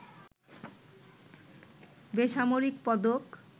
বেসামরিক পদক